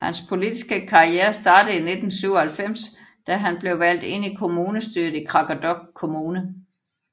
Hans politiske karriere startede i 1997 da han blev valgt ind i kommunestyret i Qaqortoq Kommune